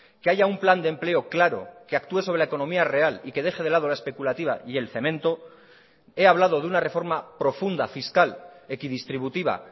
que haya un plan de empleo claro que actúe sobre la economía real y que deje de lado la especulativa y el cemento he hablado de una reforma profunda fiscal equidistributiva